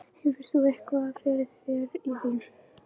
Hefur þú eitthvað fyrir þér í því?